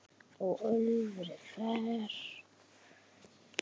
er öfri fer